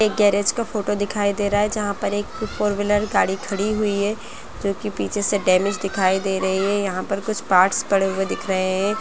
एक गैरेज का फोटो दिखाई दे रहा हैजहाँ पर एक फोर व्हीलर गाड़ी खड़ी हुई है जो की पिछे से डैमेज दिखाई दे रही है यहाँ पर कुछ पार्ट्स पड़े हुए दिख रहे है।